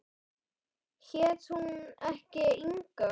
Hét hún ekki Inga?